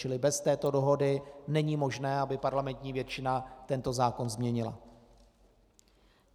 Čili bez této dohody není možné, aby parlamentní většina tento zákon změnila.